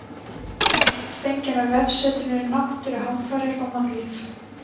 Mynd fengin af vefsetrinu Náttúruhamfarir og mannlíf.